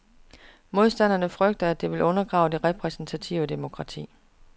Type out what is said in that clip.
Modstanderne frygter, at det vil undergrave det repræsentative demokrati.